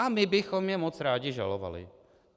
A my bychom je moc rádi žalovali.